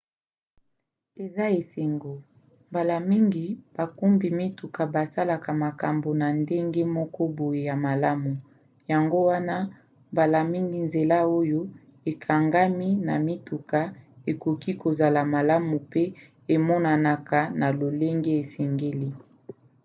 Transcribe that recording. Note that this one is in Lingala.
eza esengo mbala mingi bakumbi mituka basalaka makambo na ndenge moko boye ya malamu; yango wana mbala mingi nzela oyo ekangami na mituka ekoki kozala malamu mpe emonanaka na lolenge esengeli